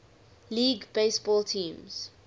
league baseball teams